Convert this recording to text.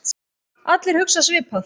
Allir hugsa svipað.